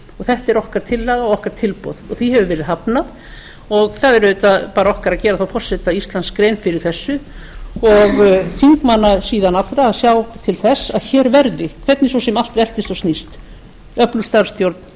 þetta er okkar tillaga og okkar tilboð og því hefur verið hafnað það er auðvitað okkar að gera forseta íslands grein fyrir þessu og þingmanna síðan allra að sjá til þess að hér verði hvernig svo sem allt veltist og snýst öflug starfsstjórn